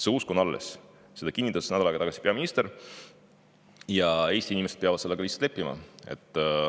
See usk on alles, seda kinnitas nädal aega tagasi peaminister, ja Eesti inimesed peavad sellega lihtsalt leppima.